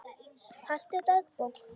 Haltu dagbók.